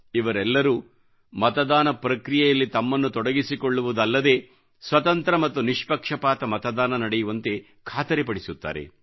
ಇವರೆಲ್ಲರೂ ಮತದಾನ ಪ್ರಕ್ರಿಯೆಯಲ್ಲಿ ತಮ್ಮನ್ನು ತೊಡಗಿಸಿಕೊಳ್ಳುವುದಲ್ಲದೇ ಸ್ವತಂತ್ರ ಮತ್ತು ನಿಷ್ಪಕ್ಷಪಾತ ಮತದಾನ ನಡೆಯುವಂತೆ ಖಾತರಿಪಡಿಸುತ್ತಾರೆ